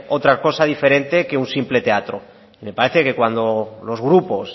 otra cosa diferente que un simple teatro me parece que cuando los grupos